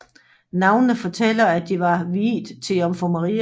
Navnene fortæller at de var viet til Jomfru Maria